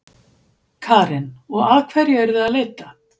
Karen: Og að hverju eruð þið að leita?